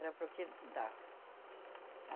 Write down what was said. Era para o que dava.